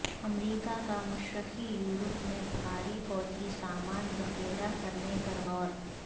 امریکہ کا مشرقی یورپ میں بھاری فوجی سامان ذخیرہ کرنے پر غور